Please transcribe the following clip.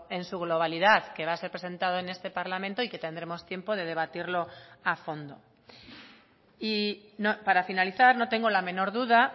en su globalidad que va a ser presentado en este parlamento y que tendremos tiempo de debatirlo a fondo y para finalizar no tengo la menor duda